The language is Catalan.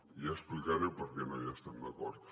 i explicaré per què no hi estem d’acord